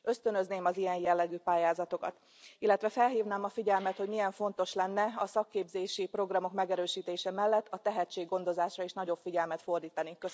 Ösztönözném az ilyen jellegű pályázatokat, illetve felhívnám a figyelmet, hogy milyen fontos lenne a szakképzési programok megerősítése mellett a tehetséggondozásra is nagyobb figyelmet fordítani.